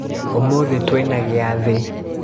Ũmũthĩ twina gĩathĩ.